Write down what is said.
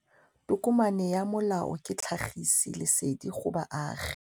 Tokomane ya molao ke tlhagisi lesedi go baagi.